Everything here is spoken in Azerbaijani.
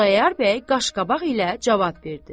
Xudayar bəy qaşqabaq ilə cavab verdi: